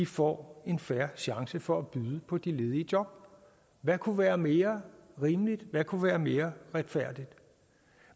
får en fair chance for at byde på de ledige job hvad kunne være mere rimeligt hvad kunne være mere retfærdigt